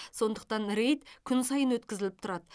сондықтан рейд күн сайын өткізіліп тұрады